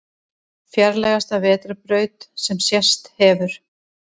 Fjarlægasta vetrarbraut sem sést hefur